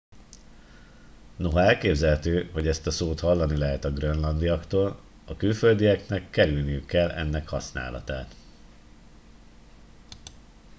noha elképzelhető hogy ezt a szót hallani lehet a grönlandiaktól a külföldieknek kerülniük kell ennek használatát